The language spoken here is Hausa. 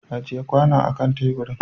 Ajiye kwanon akan tebur!